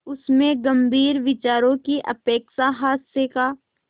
उसमें गंभीर विचारों की अपेक्षा हास्य का